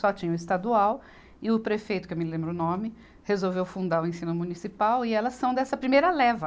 Só tinha o estadual e o prefeito, que eu me lembro o nome, resolveu fundar o ensino municipal e elas são dessa primeira leva.